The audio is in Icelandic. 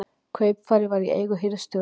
Kaupfarið var í eigu hirðstjórans.